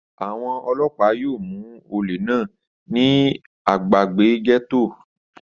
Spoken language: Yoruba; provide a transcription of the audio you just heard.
Àwọn ọlọ́pàá yíò mú olè náà ní agbègbè gẹ́tò